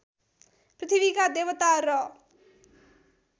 पृथ्वीका देवता र